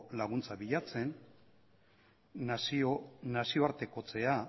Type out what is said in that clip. laguntza bilatzen nazioartekotzea